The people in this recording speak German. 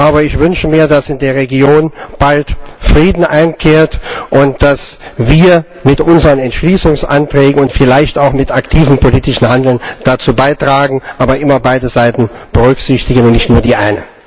Aber ich wünsche mir, dass in der Region bald Frieden einkehrt und dass wir mit unseren Entschließungsanträgen und vielleicht auch mit aktivem politischem Handeln dazu beitragen, aber immer beide Seiten berücksichtigen und nicht nur die eine.